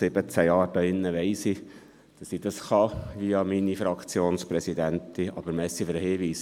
Nach 17 Jahren hier drin weiss ich, dass ich an meine Fraktionspräsidentin gelangen kann.